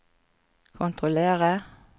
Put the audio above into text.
kontrollere